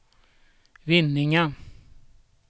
Vinninga